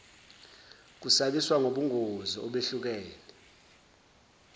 kusabisa ngobungozi obehlukene